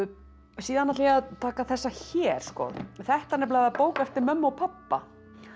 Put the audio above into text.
síðan ætla ég að taka þessa hér þetta er bók eftir mömmu og pabba